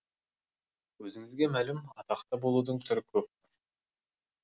өзіңізге мәлім атақты болудың түрі көп